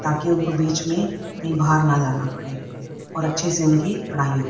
ताकि उनको बीच में कहीं बाहर न जाना पड़े और अच्छे से उनकी पढ़ाई हो।